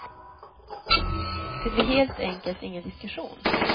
Det blir helt enkelt ingen diskussion.